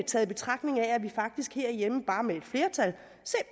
tager i betragtning at vi faktisk herhjemme